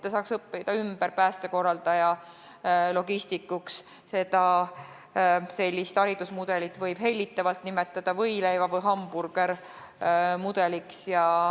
Sellist haridusmudelit võib hellitavalt nimetada võileiva- või hamburgerimudeliks.